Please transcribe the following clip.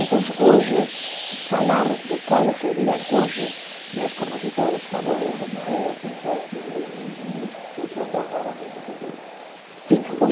Então se hoje, falar de quais seriam, hoje, meus compositores favoritos. Na época que o o o, porque o senhor tocava música popular. Sim